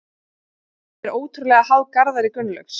Liðið er ótrúlega háð Garðari Gunnlaugs.